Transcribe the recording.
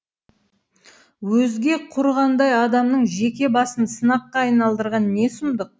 өзге құрығандай адамның жеке басын сынаққа айналдырған не сұмдық